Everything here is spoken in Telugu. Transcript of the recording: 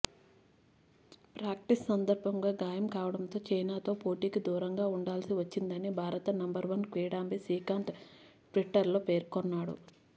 ప్రాక్టీస్ సందర్భంగా గాయం కావడంతో చైనాతో పోటీకి దూరంగా ఉండాల్సి వచ్చిందని భారత నంబర్వన్ కిడాంబి శ్రీకాంత్ ట్విటర్లో పేర్కొన్నాడు